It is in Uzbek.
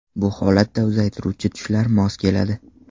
Bu holatda uzaytiruvchi tushlar mos keladi.